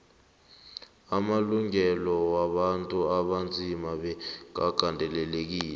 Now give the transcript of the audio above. amalungelo wabantu abanzima bekagandelelwe